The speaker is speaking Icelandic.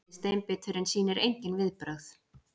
Gamli steinbíturinn sýnir engin viðbrögð.